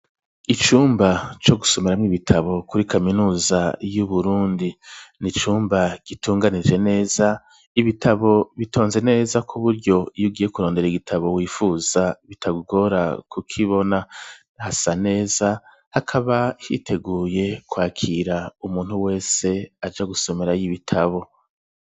Icumba co gusomeramwo ibitabo kuri kaminuza yu Burundi n'icumba gitunganije neza ibitabo bitonze neza kuburyo iyo ugiye kurondera igitabo wifuza bitakugora ku kibona hasa neza hakaba hiteguye kwakira umuntu wese aja gusomerayo y'ibitabo.